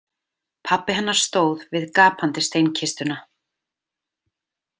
Pabbi hennar stóð við gapandi steinkistuna.